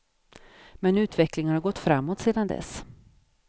Men utvecklingen har ju gått framåt sedan dess.